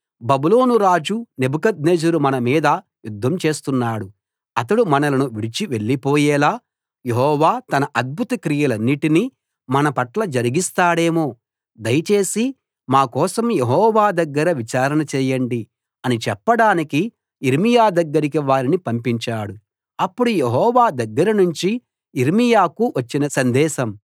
బబులోను రాజు నెబుకద్నెజరు మన మీద యుద్ధం చేస్తున్నాడు అతడు మనలను విడిచి వెళ్లిపోయేలా యెహోవా తన అద్భుత క్రియలన్నిటిని మన పట్ల జరిగిస్తాడేమో దయచేసి మా కోసం యెహోవా దగ్గర విచారణ చేయండి అని చెప్పడానికి యిర్మీయా దగ్గరికి వారిని పంపించాడు అప్పుడు యెహోవా దగ్గరనుంచి యిర్మీయాకు వచ్చిన సందేశం